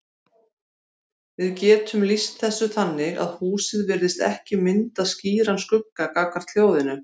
Við getum lýst þessu þannig að húsið virðist ekki mynda skýran skugga gagnvart hljóðinu.